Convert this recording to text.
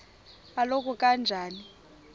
oluka ka njl